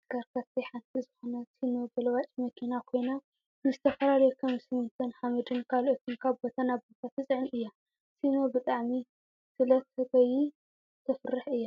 ካብ ተሽከርከርቲ ሓንቲ ዝኮነት ሲኖ ገልባጭ መኪና ኮይና ንዝተፈላለዩ ከም ስሚንቶን ሓመድን ካልኦትን ካብ ቦታ ናብ ቦታ ትፅዕን እያ። ሲኖ ብጣዕሚ ስለ ትጎይ ተፍርሕ እያ።